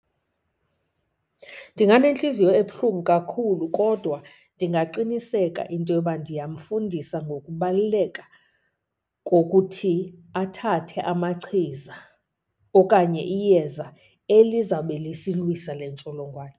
Ndinganentliziyo ebuhlungu kakhulu kodwa ndingaqiniseka into yoba ndiyamfundisa ngokubaluleka kokuthi athathe amachiza okanye iyeza elizawube lisilwisa le ntsholongwane.